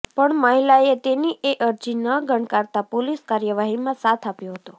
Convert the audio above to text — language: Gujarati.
પણ મહિલાએ તેની એ અરજી ન ગણકારતા પોલીસ કાર્યવાહીમાં સાથ આપ્યો હતો